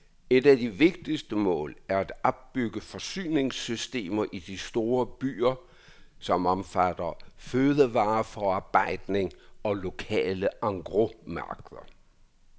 Et af de vigtigste mål er at opbygge forsyningssystemer i de store byer, som omfatter fødevareforarbejdning og lokale engrosmarkeder.